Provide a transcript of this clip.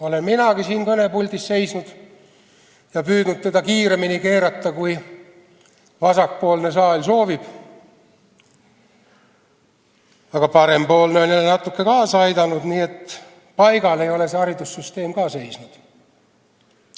Olen minagi siin kõnepuldis seisnud ja püüdnud teda kiiremini käima keerata, kui saali vasakpoolne tiib soovib, aga parempoolne on natukene jälle kaasa aidanud, nii et paigal ei ole haridussüsteem ka seisnud.